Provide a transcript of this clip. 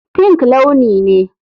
Pink launi ne.